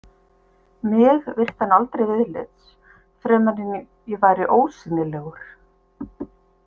Mig virti hann aldrei viðlits fremur en ég væri ósýnilegur.